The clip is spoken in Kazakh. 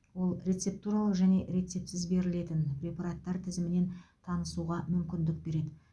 ол рецептуралық және рецептсіз берілетін препараттар тізімімен танысуға мүмкіндік береді